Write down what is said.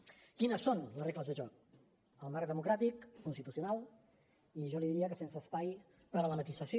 quines són les regles de joc el marc democràtic constitucional i jo li diria que sense espai per a la matisació